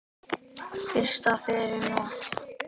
Frystið yfir nótt.